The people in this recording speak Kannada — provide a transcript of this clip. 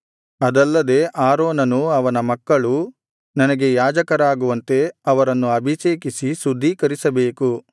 ಅದಲ್ಲದೆ ಆರೋನನೂ ಅವನ ಮಕ್ಕಳೂ ನನಗೆ ಯಾಜಕರಾಗುವಂತೆ ಅವರನ್ನು ಅಭಿಷೇಕಿಸಿ ಶುದ್ಧೀಕರಿಸಬೇಕು